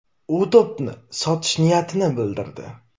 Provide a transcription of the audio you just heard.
U to‘pni sotish niyatini bildirdi.